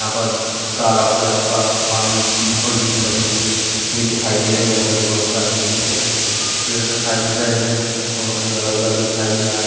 यहाँ पर तालाब के आसपास पानी बॉउंड्री भी बनी हुई दिखाई दे रही है यहाँ पे मुझे बहोत सारे ऊंचे-ऊंचे पेड़ दिखाई दे रहे है यहाँ पे पानी भरा हुआ भी दिखाई दे रहा है।